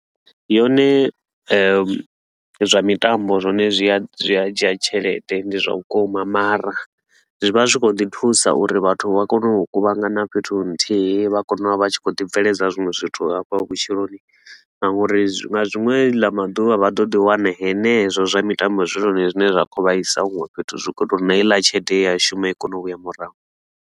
Yone zwa mitambo zwone zwia zwia dzhia tshelede ndi zwa vhukuma, mara zwi vha zwi khou ḓi thusa uri vhathu vha kone u kuvhangana fhethu nthihi. Vha kone u vha vha tshi kha ḓi bveledza zwinwe zwithu hafha vhutshiloni, na ngauri zwi nga ḽiṅwe ḽa maḓuvha vha ḓo ḓi wana henezwo zwa mitambo zwi zwone zwine zwa khou vha isa huṅwe fhethu zwi khou tou na heiḽa tshelede ye ya shuma i kone u vhuya murahu.